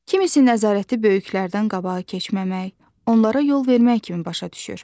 Kimisi nəzarəti böyüklərdən qabağa keçməmək, onlara yol vermək kimi başa düşür.